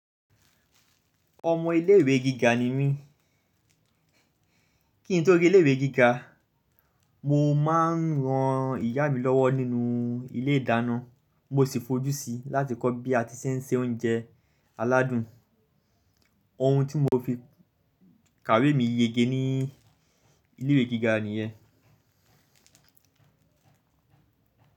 Ọmọ ilé ìwé gíga ni mí. Kí n tó ri ilé ìwé gíga, mo máa ń ran ìyá mi lọ́wọ́ nínú ilé ìdáná. Mo sì fojú si láti kọ́ bí a ti ṣe ń se oúnjẹ aládùn. Ohun tí mo fi kàwé mi yege ní ilé ìwé gíga nìyẹn.